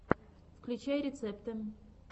включай рецепты